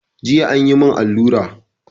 Jiya an yi mun alura